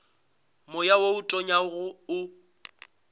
moya wo o tonyago o